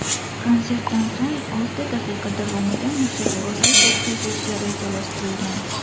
Konsertdan so‘ng olti daqiqa davomida mushakbozlik o‘tkazilishi rejalashtirilgan.